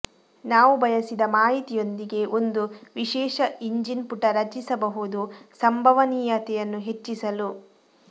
ನಾವು ಬಯಸಿದ ಮಾಹಿತಿಯೊಂದಿಗೆ ಒಂದು ವಿಶೇಷ ಇಂಜಿನ್ ಪುಟ ರಚಿಸಬಹುದು ಸಂಭವನೀಯತೆಯನ್ನು ಹೆಚ್ಚಿಸಲು